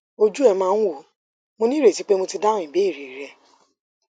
ojú ẹ máa ń wò ó mo ní ìrètí pé mo ti dáhùn ìbéèrè rẹ